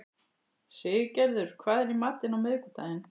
Siggerður, hvað er í matinn á miðvikudaginn?